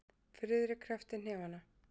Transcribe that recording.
Friðrik kreppti hnefana.